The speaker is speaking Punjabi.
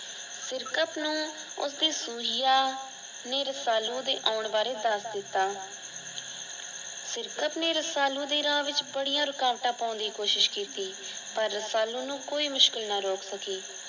ਸਿਰਕਤ ਨੂੰ ਉਸਦੇ ਸੁਹਿਆ ਨੇ ਰਸਾਲੂ ਦੇ ਓਣ ਬਾਰੇ ਦਸ ਦਿਤਾ। ਸਿਰਕਤ ਨੇ ਰਸਾਲੂ ਦੇ ਰਾਹ ਵਿੱਚ ਵੜਿਆ ਰੁਕਾਵਟਾਂ ਪੌਣ ਦੀ ਕੋਸ਼ਿਸ਼ ਕੀਤੀ। ਪਰ ਰਸਾਲੂ ਨੂੰ ਕੋਈ ਮੁਸ਼ਕਿਲ ਨਾ ਰੋਕ ਸਕੀ ।